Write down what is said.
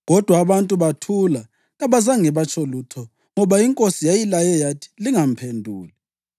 Kodwa abantu bathula kabazange batsho lutho, ngoba inkosi yayilaye yathi, “Lingamphenduli.”